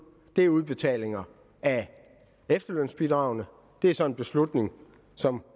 er udbetalingen af efterlønsbidraget det er så en beslutning som